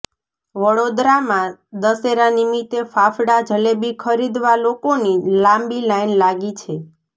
વડોદરામાં દશેરા નિમિતે ફાફડા જલેબી ખરીદવા લોકોની લાંબી લાઈન લાગી છે